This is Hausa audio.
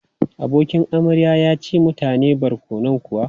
Abokin amarya ya ci mutane barkonon kuwa?